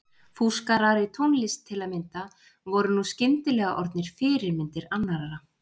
Fúskarar í tónlist til að mynda voru nú skyndilega orðnir fyrirmyndir annarra.